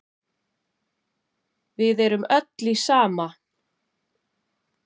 Við erum öll í sama